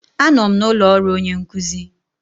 Anọ m n'ụlọ ọrụ onye nkuzi.